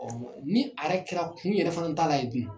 ni a yɛrɛ kɛra kun yɛrɛ fana t'ala yen dun ?